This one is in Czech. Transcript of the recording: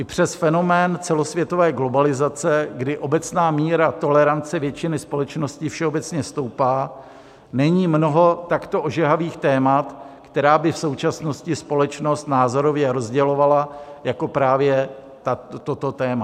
I přes fenomén celosvětové globalizace, kdy obecná míra tolerance většiny společnosti všeobecně stoupá, není mnoho takto ožehavých témat, která by v současnosti společnost názorově rozdělovala, jako právě toto téma.